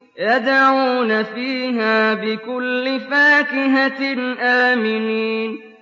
يَدْعُونَ فِيهَا بِكُلِّ فَاكِهَةٍ آمِنِينَ